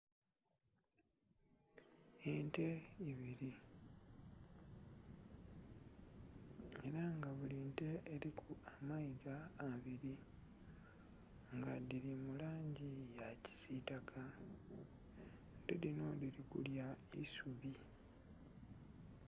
Ente ibili era nga buli nte eliku amaiga abili nga dhili mu langi ya kisitaka, ente dhinho dhili kulya aisubi.